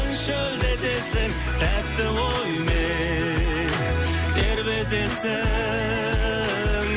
шөлдетесің тәтті оймен тербетесің